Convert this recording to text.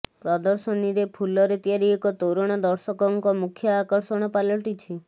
ପ୍ରଦର୍ଶନୀରେ ଫୁଲରେ ତିଆରି ଏକ ତୋରଣ ଦର୍ଶକଙ୍କ ମୁଖ୍ୟ ଆକର୍ଷଣ ପାଲଟିଛି